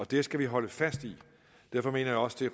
det skal vi holde fast i derfor mener jeg også det